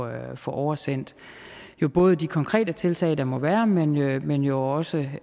at få oversendt både de konkrete tiltag der må være men jo men jo også